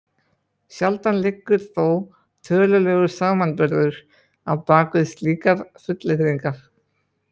Sjaldan liggur þó tölulegur samanburður á bak við slíkar fullyrðingar.